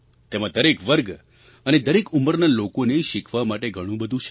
તેમાં દરેક વર્ગ અને દરેક ઉંમરના લોકોને શીખવા માટે ઘણું બધું છે